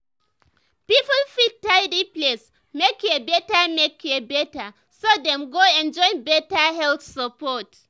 people fit tidy place make care better make care better so dem go enjoy better health support.